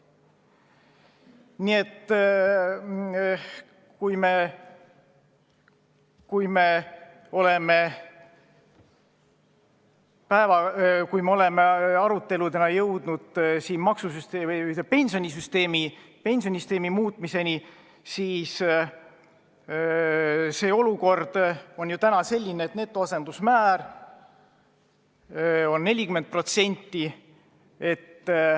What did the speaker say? Nii et ajal, kui me oleme oma aruteludega jõudnud pensionisüsteemi muutmiseni, on olukord selline, et netoasendusmäär on 40%.